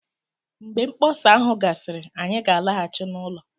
Mgbe mkpọsa ahụ gasịrị, anyị ga-alaghachi n'ụlọ